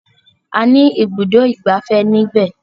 A ní ibùdó ìgbafẹ́ ní ibẹ̀.